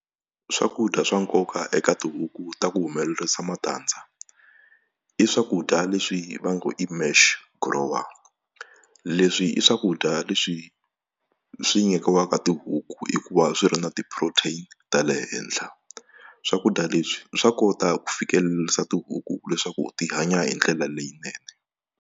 Swakudya swa nkoka eka tihuku ta ku humelerisa matandza i swakudya leswi va ngo i mash grower leswi i swakudya leswi swi nyikiwaka tihuku hikuva swi ri na ti-protein ta le henhla swakudya leswi swa kota ku fikelerisa tihuku leswaku ti hanya hi ndlela leyinene.